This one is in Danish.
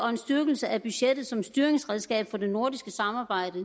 en styrkelse af budgettet som styringsredskab for det nordiske samarbejde